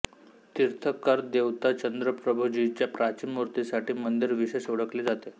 तीर्थंकर देवता चंद्रप्रभुजीच्या प्राचीन मूर्तीसाठी मंदिर विशेष ओळखले जाते